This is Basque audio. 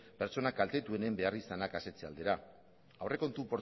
pertsona kaltetuenen beharrizanak asetze aldera aurrekontu